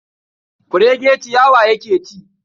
Kurege ciyawa yake ci.